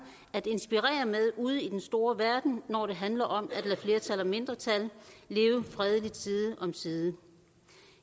at inspirere med ude i den store verden når det handler om at lade flertal og mindretal leve fredeligt side om side